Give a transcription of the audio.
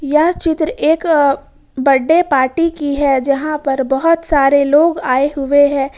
यह चित्र एक बर्थडे पार्टी की है जहां पर बहुत सारे लोग आए हुए हैं।